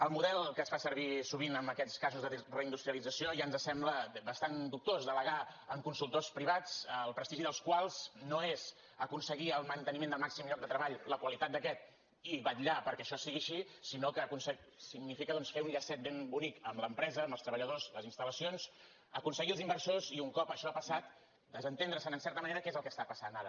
el model que es fa servir sovint en aquests casos de reindustrialització ja ens sembla bastant dubtós delegar en consultors privats el prestigi dels quals no és aconseguir el manteniment del màxim lloc de treball la qualitat d’aquest i vetllar perquè això sigui així sinó que significa doncs fer un llacet ben bonic amb l’empresa amb els treballadors les instal·lacions aconseguir els inversors i un cop això ha passat desentendre se’n en certa manera que és el que està passant ara